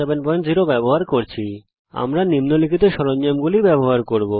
আমরা নিম্নলিখিত জীয়োজেব্রা সরঞ্জামগুলি ব্যবহার করব